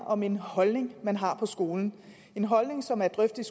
om en holdning man har på skolen en holdning som er drøftet